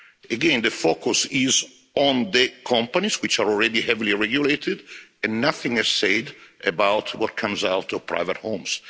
Again, the focus is on the companies which are already heavily regulated, and nothing is said about what comes out of private homes.